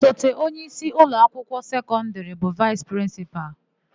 Osote onyeisi ụlọakwụkwọ sekọndịrị bụ vaịsị prịnsịpalụ.